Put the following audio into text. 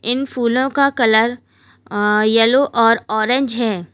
इन फूलों का colour yellow और ऑरेंज है।